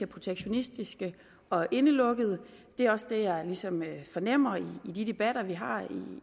protektionistiske og indelukkede det er også det jeg ligesom fornemmer i de debatter vi har